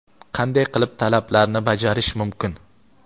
qanday qilib talablarni bajarish mumkin?.